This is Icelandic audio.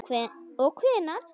Og hvenær?